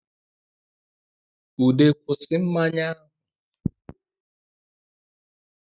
Ude kwusi mmanya ahụ